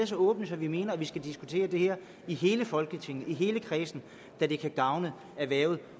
så åbne at vi mener at vi skal diskutere det her i hele folketinget i hele kredsen da det kan gavne erhvervet